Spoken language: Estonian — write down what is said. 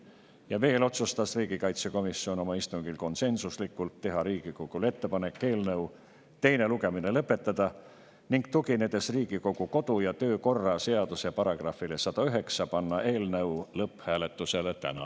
Ja veel otsustas riigikaitsekomisjon oma istungil konsensuslikult teha Riigikogule ettepaneku eelnõu teine lugemine lõpetada, ning tuginedes Riigikogu kodu- ja töökorra seaduse §-le 109, panna eelnõu lõpphääletusele täna.